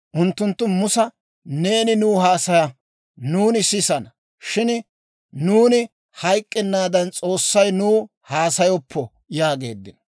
Unttunttu Musa, «Neeni nuw haasaya; nuuni sisana; shin nuuni hayk'k'ennaadan, S'oossay nuw haasayoppo» yaageeddino.